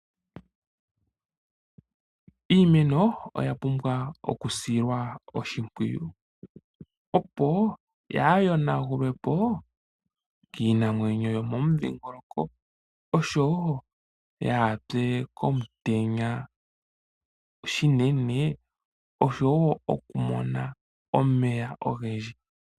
Iimeno oya pumbwa okusilwa oshimpwiyu, opo yaa yonagulwe po kiinamwenyo yomomudhingoloko, osho wo yaa pye komutenya unene, osho wo okumona omeya ogendji.